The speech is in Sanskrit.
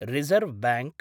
reserve bank